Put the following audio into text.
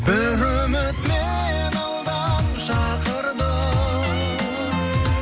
бір үміт мені алдан шақырды